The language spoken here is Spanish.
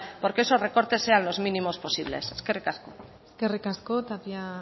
porque esos recortes sean los mínimos posibles eskerrik asko eskerrik asko tapia